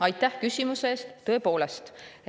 Aitäh küsimuse eest!